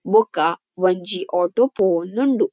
ಬೊಕ ಒಂಜಿ ಆಟೋ ಪೋವೊಂದು ಉಂಡು.